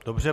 Dobře.